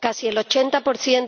Casi el 80